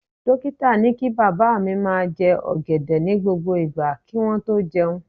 Dókítà ni kí bàbá mi máa jẹ ọ̀gẹ̀dẹ̀ ní gbogbo ìgbà kí wọ́n tó jẹun